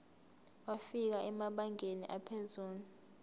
wafika emabangeni aphezulu